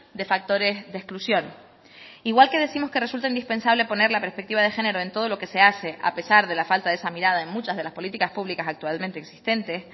de factores de exclusión igual que décimos que resulta indispensable poner la perspectiva de género en todo lo que se hace a pesar de la falta de esa mirada en muchas de las políticas públicas actualmente existentes